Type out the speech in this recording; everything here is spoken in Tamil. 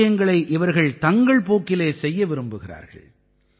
விஷயங்களை இவர்கள் தங்கள் போக்கிலே செய்ய விரும்புகிறார்கள்